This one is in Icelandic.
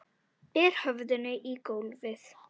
Ber höfðinu í gólfið.